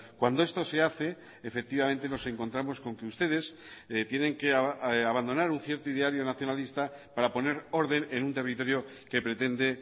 cuando esto se hace efectivamente nos encontramos con que ustedes tienen que abandonar un cierto ideario nacionalista para poner orden en un territorio que pretende